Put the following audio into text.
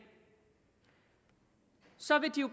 så vil de jo